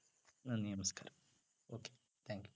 നന്ദി നമസ്കാരം okay thank you